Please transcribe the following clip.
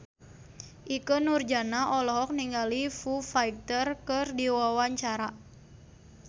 Ikke Nurjanah olohok ningali Foo Fighter keur diwawancara